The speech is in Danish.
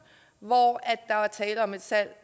hvor der er tale om et salg